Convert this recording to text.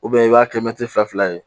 i b'a kɛ fila ye